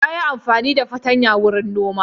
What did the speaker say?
Ya yi amfani da fatanya wurin noma.